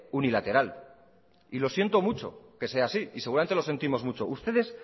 unilateral y lo siento mucho que sea así y seguramente lo sentimos mucho ustedes